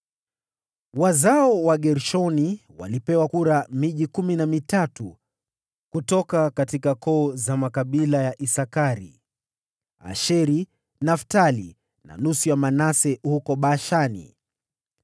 Wazao wa Gershoni walipewa miji kumi na mitatu kutoka koo za makabila ya Isakari, Asheri, Naftali na nusu ya Manase huko Bashani.